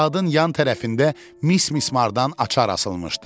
Saatın yan tərəfində mis mismardan açar asılmışdı.